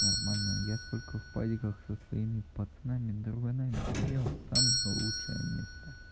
нормально я сколько в падиках со своими пацанами друганами сидел самое лучшее место